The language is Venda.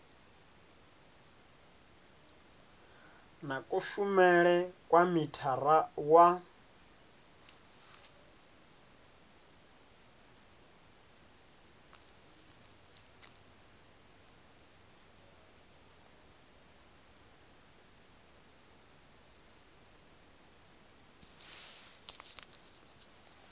na kushumele kwa mithara wa